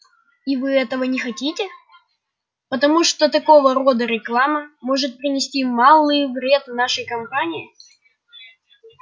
и вы этого не хотите потому что такого рода реклама может принести малый вред вашей компании